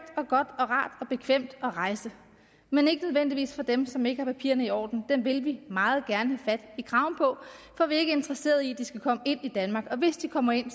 og godt og rart og bekvemt at rejse men ikke nødvendigvis for dem som ikke har papirerne i orden dem vil vi meget gerne have fat i kraven på for vi er ikke interesseret i at de skal komme ind i danmark og hvis de kommer ind